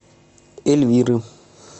эльвиры